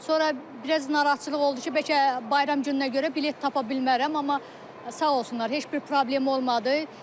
Sonra biraz narahatçılıq oldu ki, bəlkə bayram gününə görə bilet tapa bilmərəm, amma sağ olsunlar, heç bir problem olmadı.